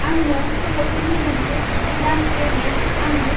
आंनो सल'फोरनि मोनसे गोदान प्ले लिस्त आंनो।